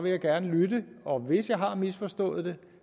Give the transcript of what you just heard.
jeg gerne lytte og hvis jeg har misforstået det